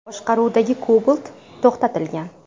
boshqaruvidagi Cobalt to‘xtatilgan.